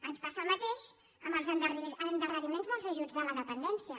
ens passa el mateix amb els endarreriments dels ajuts de la dependència